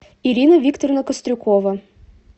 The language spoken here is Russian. ирина викторовна кострюкова